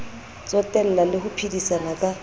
tsotella le ho phedisana ka